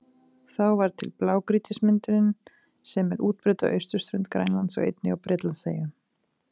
Þá varð til blágrýtismyndunin sem er útbreidd á austurströnd Grænlands og einnig á Bretlandseyjum.